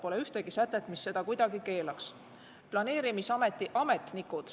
Pole ühtegi sätet, mis seda kuidagi keelaks.